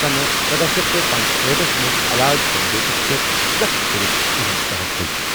،سنہٕ سداہ شیٹھ پنژہاٹھ ٹھس منز الااد سمجوتس پیٹھ سخت كرِتھ تِہُند تحفُظ ۔